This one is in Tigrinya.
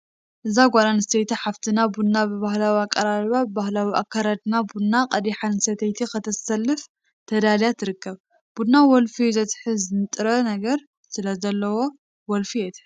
እዛ ጓል ኣነስተይቲ ሓፍቲ ቡና ብባህላዊ ኣቀራርባን ብባህላዊ ኣካዳድናን ቡና ቀዲሓ ንሰተይቲ ክተስልፎ ተዳልያ ትርከብ፡፡ ቡና ወልፊ ዘትሕዝ ንጥረ ነገር ስለዘለዎ ወልፊ የትሕዝ፡፡